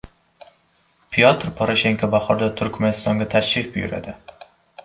Pyotr Poroshenko bahorda Turkmanistonga tashrif buyuradi.